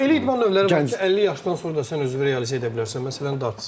Amma elə idman növləri var ki, 50 yaşdan sonra da sən özünü realizə edə bilərsən, məsələn darts.